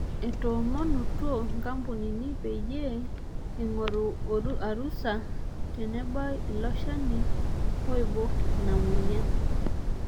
Etoomonutuo nkampunini peyie eing'oru arusa enebau ilo shani oibok ina mueyian.